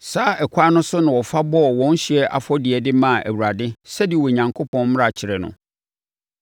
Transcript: Saa ɛkwan no so na ɔfa bɔɔ wɔn ɔhyeɛ afɔdeɛ de maa Awurade sɛdeɛ Onyankopɔn mmara kyerɛ no.